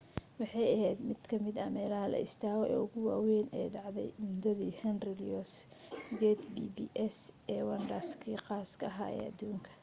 waxay ahayd mid ka mida meelaha la istaago ee ugu waawayn ee dhacday muddadii henry louis gate pps ee wonders kii khaaska ah ee adduunka afrika